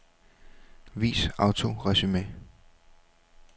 Vis autoresumé.